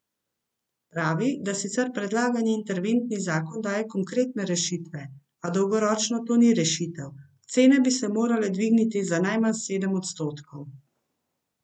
Pravi, da sicer predlagani interventni zakon daje konkretne rešitve, a dolgoročno to ni rešitev: "Cene bi se morale dvigniti za najmanj sedem odstotkov.